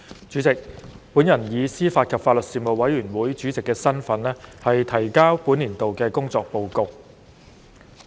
主席，本人以司法及法律事務委員會主席的身份，提交本年度的工作報告。